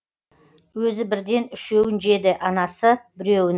өзі бірден үшеуін жеді анасы біреуін